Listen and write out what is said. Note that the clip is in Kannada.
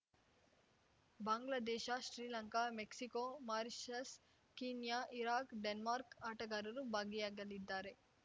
Bangladesh Sri Lanka Mexico Mauritius Kenya Iraq ಡೆನ್ಮಾರ್ಕ್ನ ಆಟಗಾರರು ಭಾಗಿಯಾಗಲಿದ್ದಾರೆ